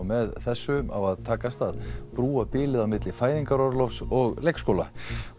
með þessi á að takast að brúa bilið á milli fæðingarorlofs og leikskóla